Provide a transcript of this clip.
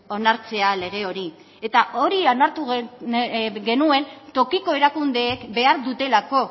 onartzea lege hori eta hori onartu genuen tokiko erakundeek behar dutelako